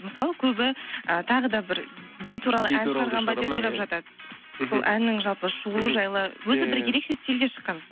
мысалы көбі ы тағы да бір би туралы ән шығарған ба деп ойлап жатады мхм сол әннің жалпы шығуы жайлы өзі бір ерекше стильде шыққан